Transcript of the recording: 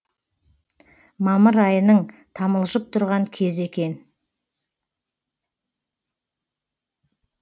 мамыр айының тамылжып тұрған кезі екен